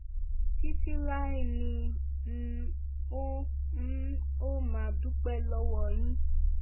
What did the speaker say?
títí láé ni n óò n óò máa dúpẹ́ lọ́wọ́ yín